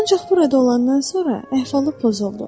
Ancaq burada olandan sonra əhvalı pozuldu.